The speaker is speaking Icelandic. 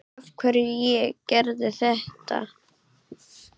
Af hverju ég gerði þetta.